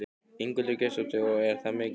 Ingveldur Geirsdóttir: Og er það mikið?